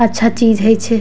अच्छा चीज हई छै।